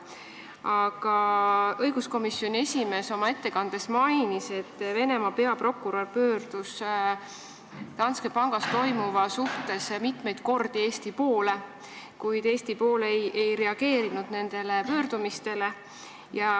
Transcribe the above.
Aga õiguskomisjoni esimees oma ettekandes mainis, et Venemaa peaprokurör pöördus Danske pangas toimuva asjus mitmeid kordi Eesti poole, kuid Eesti pool ei reageerinud nendele pöördumistele.